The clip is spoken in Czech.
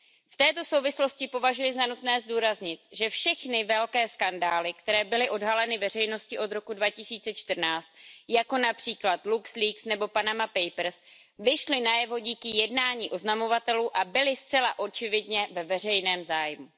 V této souvislosti považuji za nutné zdůraznit, že všechny velké skandály, které byly odhaleny veřejností od roku 2014, jako například nebo vyšly najevo díky jednání oznamovatelů a byly zcela očividně ve veřejném zájmu.